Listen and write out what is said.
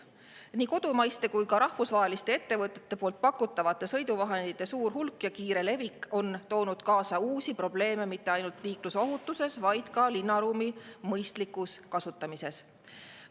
Nii kodumaiste kui ka rahvusvaheliste ettevõtete poolt pakutavate sõiduvahendite suur hulk ja kiire levik on toonud kaasa uusi probleeme mitte ainult liiklusohutuse, vaid ka linnaruumi mõistliku kasutamise seisukohast.